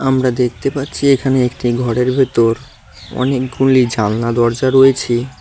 আমরা দেখতে পারছি এখানে একটি ঘরের ভেতর অনেকগুলি জালনা -দরজা রয়েছে।